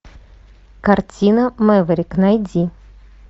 картина мэверик найди